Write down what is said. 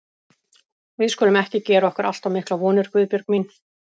Við skulum ekki gera okkur allt of miklar vonir, Guðbjörg mín.